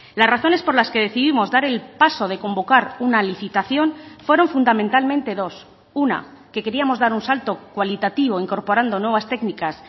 las razones por las que decidimos dar el paso de convocar una licitación fueron fundamentalmente dos una que queríamos dar un salto cualitativo incorporando nuevas técnicas